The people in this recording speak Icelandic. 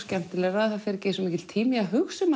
skemmtilegra það fer ekki eins mikill tími í að hugsa um